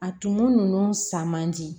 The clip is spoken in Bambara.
A tumu ninnu sa man di